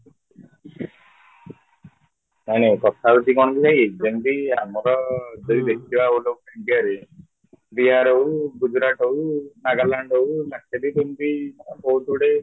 ଜାଣ କଥା ହଉଚି କ'ଣ କି ଭାଇ ଯେମିତି ଆମର ଯଦି ଦେଖିବା all over ଇଣ୍ଡିଆରେ ବିହାର ହଉ ଗୁଜରାଟ ହଉ ନାଗାଲାଣ୍ଡ ହଉ ଯେମିତି ବହୁତ ଗୁଡ଼େ